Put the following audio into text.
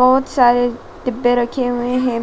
बहोत सारे डिब्बे रखे हुए हैं।